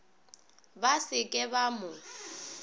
ba se ke ba mo